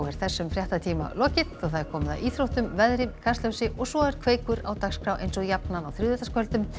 þessum fréttatíma lokið og komið að íþróttum veðri Kastljósi og svo er Kveikur á dagskrá eins og jafnan á þriðjudagskvöldum